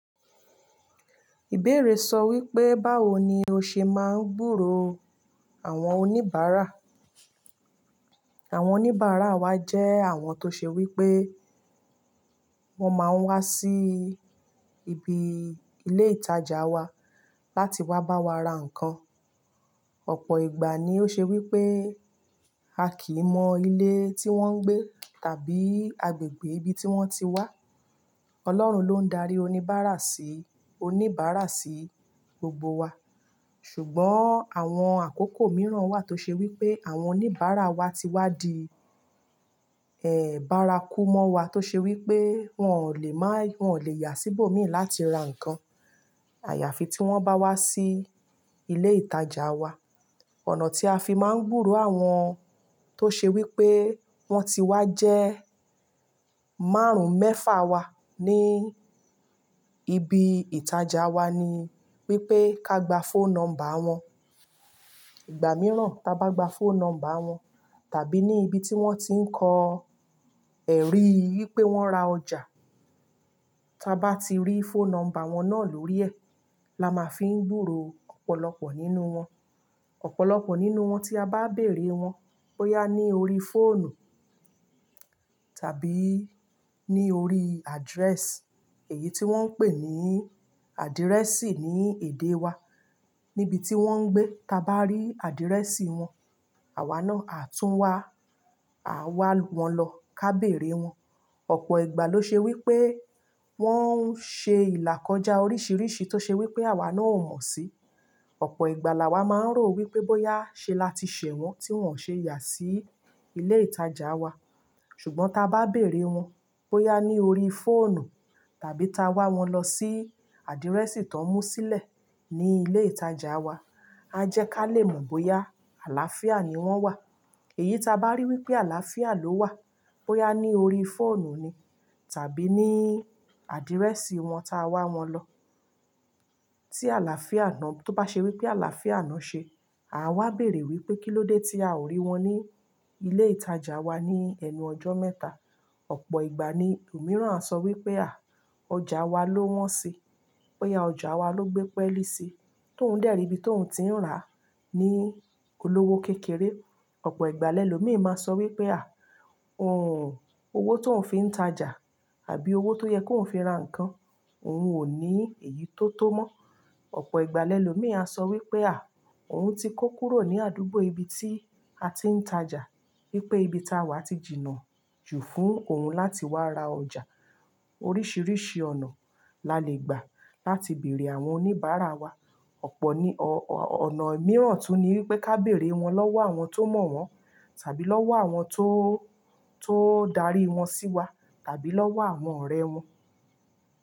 Ìbéèrè sọ wípé báwo ni ó ṣe máa ń gbúrò àwọn oníbàárà. Àwọn oníbàárà wa jẹ́ àwọn tó ṣe wípé wón máa ń wá sí ibi ilé ìtajà wa láti wá bá wa ra nǹkan. Ọ̀pọ̀ ìgbà ni ó ṣe wípé a kì í mọ ilé tí wón ń gbé tàbí agbègbè ibi tí wón ti wá. Ọlọ́run ló ń darí oníbàárà sí oníbàárà sí gbogbo wa. Ṣùgbọ́n àwọn àkókò mìíràn wà tó ṣe wípé àwọn oníbàárà wa ti wá di, eh, bárákú mọ́ wa tó ṣe wípé wón ò lè má-- wón ò lè yà síbò mí láti ra nǹkan. Àyàfi tí wón bá wá sí ilé ìtajà wa. Ọ̀nà tí a fi máa ń gbúrò àwọn tó ṣe wípé wón ti wá jẹ́ márùn-ún mẹ́fà wa ní ibi ìtajà wa ni wípé ká gba phone number wọn. Ìgbà mìíràn tá bá gba phone number wọn tàbí ní ibi tí wón ti ń kọ́ ẹ̀rí wípé wón ra ọjà. Tá bá ti rí phone number wọn náà lórí ẹ̀, la máa fi ń gbúrò ọ̀pọ̀lọpọ̀ nínú wọn. Ọ̀pọ̀lọpọ̀ nínú wọn tí a bá béèrè wọn bóyá ní ori fóònù tàbí ní ori address, èyí tí wón ń pè ní àdírẹ́sì ní èdè wa, níbi tí wón ń gbé. Tá bá rí àdírẹ́sì wọn, àwa náà á tún wá, á wá wọn lọ ká béèrè wọn. Ọ̀pọ̀ ìgbà ló ṣe wípé wón ń ṣe ìlà kọjá oríṣìíríṣìí tó ṣe wípé àwa náà ó mo sí. Ọ̀pọ̀ ìgbà la wa máa ń rò wípé bóyá ṣe lati ṣẹ̀ wón tí wón ṣe yà sí ilé ìtajà wa. Ṣùgbọ́n tá bá béèrè wọn bóyá ní ori fóònù tàbí ta wá wọn lọ sí àdírẹ́sì tó mú sílẹ̀ ní ilé ìtajà wa, a jẹ́ ká lè mọ̀ bóyá àlàáfíà ni wọ́n wà. Èyí ta bá rí wípé àlàáfíà ló wà, bóyá ní ori fóònù ni tàbí ní àdírẹ́sì wọn tá wá wọn lọ. Tí àlàáfíà náà, tó bá ṣe wípé àlàáfíà náà ṣe, à wa béèrè wípé kílódé tí a ò rí wọn ní ilé ìtajà wa ní ẹnu ọjọ́ mẹ́ta. Ọ̀pọ̀ ìgbà ni òmíràn sọ wípé à, ọjà wa ló wọ́n sí, bóyá ọjà wa ló gbé pẹ́lí sí, tó ń dẹ́ri ibi tó ń ti ń ra ní olówó kékeré. Ọ̀pọ̀ ìgbà lẹ́lòmíì máa sọ wípé à, òun, owó tó ń fi ń tajà àbí owó tó yẹ kó ń fi ra nǹkan òun ò ní èyí tó tó mọ́. Ọ̀pọ̀ ìgbà lẹ́lòmíì a sọ wípé à, òun ti kó kúrò ní àdúgbò ibi tí a ti ń tajà. Wípé ibi táwà ti jìnnà jù fún òun láti wá ra ọjà. Oríṣìíríṣìí ọ̀nà la lè gbà láti bèèrè àwọn oníbàárà wa. Ọ̀pọ̀ ní ọ̀-- ọ̀nà mìíràn tún ni wípé ká béèrè wọn lọ́wọ́ àwọn tó mọ̀ wón tàbí lọ́wọ́ àwọn tó, tó darí wọn sí wa tàbí lọ́wọ́ àwọn ọ̀rẹ́ wọn.